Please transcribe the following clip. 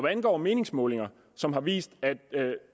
angår meningsmålinger som har vist